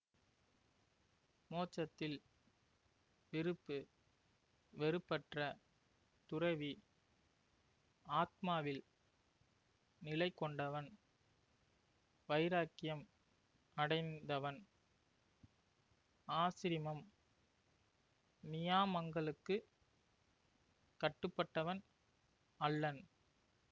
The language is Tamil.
மோட்சத்தில் விருப்புவெறுப்பற்ற துறவி ஆத்மாவில் நிலைகொண்டவன் வைராக்கியம் அடைந்தவன் ஆசிரமம் நியாமங்களுக்கு கட்டுப்பட்டவன் அல்லன்